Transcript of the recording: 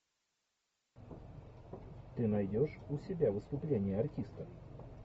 ты найдешь у себя выступление артиста